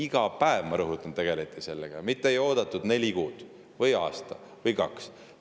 Ma rõhutan: iga päev tegeleti sellega, mitte ei oodatud neli kuud või aasta või kaks aastat!